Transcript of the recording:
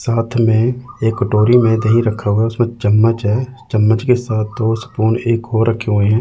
साथ में एक कटोरी में दही रखा हुआ उसमें चम्मच है चम्मच के साथ दो स्पून एक और रखे हुए हैं।